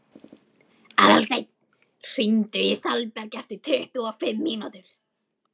Aðalsteinn, hringdu í Salberg eftir tuttugu og fimm mínútur.